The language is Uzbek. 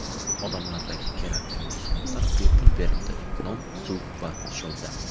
Odamlarga kerakli mahsulotlar bepul berildi: non, suv va nisholda.